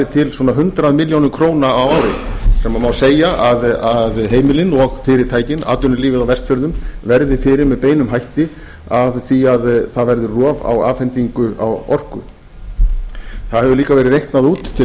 til svona hundrað milljónir króna á ári sem má segja að heimilin og fyrirtækin atvinnulífið á vestfjörðum verði fyrir með beinum hætti af því að það verði rof á afhendingu á orku það hefur líka verið reiknað út til